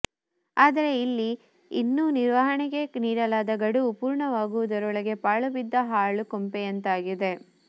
ಆದರೆ ಇಲ್ಲಿ ಇನ್ನೂ ನಿರ್ವಹಣೆಗೆ ನೀಡಲಾದ ಗಡುವು ಪೂರ್ಣವಾಗುವುದರೊಳಗೆ ಪಾಳುಬಿದ್ದ ಹಾಳು ಕೊಂಪೆಯಂತಾಗಿದೆ